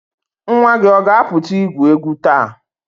Nwa gị ọ ga-apụta igwu egwu taa?